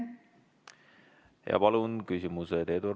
Palun küsimused!